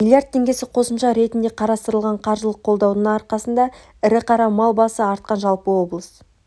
млрд теңгесі қосымша ретінде қарастырылған қаржылық қолдаудың арқасында ірі қара мал басы артқан жалпы облыс